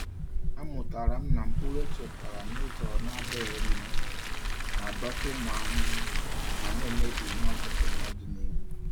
Amụtara m na mkpụrụ echekwara n’ụzọ na-adịghị mma na-adọta ụmụ ahụhụ ma na-emebi ihe ọkụkụ n’ọdịnihu.